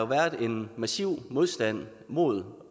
været en massiv modstand mod